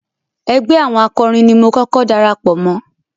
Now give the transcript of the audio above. Ẹgbẹ́ àwọn akọrin ni mo kọ́kọ́ darapọ̀ mọ́.